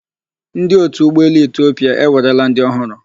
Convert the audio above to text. Ndi otu Ụgbọelu Etiopia ewerela ndị ọhụrụ.